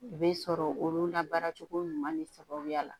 I bɛ sɔrɔ olu la baara cogo ɲuman de sababuya la